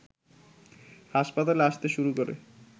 হাসপাতালে আসতে শুরু করে